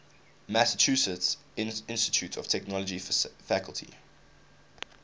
massachusetts institute of technology faculty